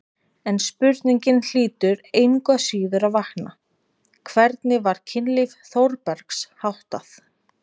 En spurningin hlýtur engu að síður að vakna: hvernig var kynlífi Þórbergs háttað?